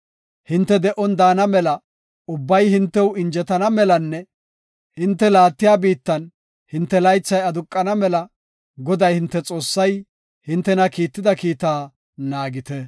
Hinte de7on daana mela, ubbay hintew injetana melanne hinte laattiya biittan hinte laythay aduqana mela, Goday hinte Xoossay hintena kiitida kiita naagite.